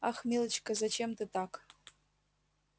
ах милочка зачем ты так